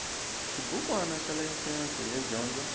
xibukwana xa layisense yo dyondza